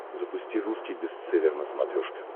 запусти русский бестселлер на смотрешке